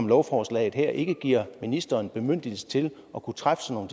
lovforslaget her ikke giver ministeren bemyndigelse til at kunne træffe sådan